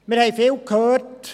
Wir haben viel gehört: